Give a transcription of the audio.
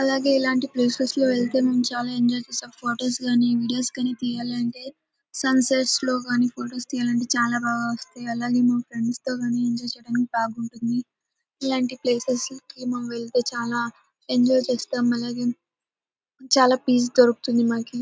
అలాగే ఇలాంటి ప్లేసెస్ లో వెళ్తే మనం చాలా ఎంజాయ్ చేస్తాం. ఫొటోస్ గానీ వీడియోస్ కానీ తీయాలంటే సన్ సెట్ లో గానీ ఫోటో తీయాలంటే చాల బాగా వస్తాయి అలాగే మా ఫ్రెండ్స్ తో గానీ ఎంజాయ్ చేయటానికి బాగుంటుంది. ఇలాంటి ప్లేసెస్ కి వెళ్తే చాలా ఎంజాయ్ చేస్తాం. అలాగే చాలా పీస్ దొరుకుతుంది మనకి.